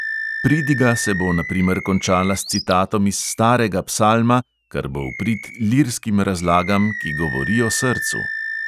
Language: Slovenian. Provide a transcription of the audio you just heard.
Pridiga se bo na primer končala s citatom iz starega psalma, kar bo v prid lirskim razlagam, ki govorijo srcu.